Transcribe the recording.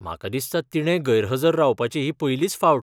म्हाका दिसता तिणें गैरहजर रावपाची ही पयलीच फावट.